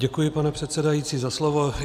Děkuji, pane předsedající, za slovo.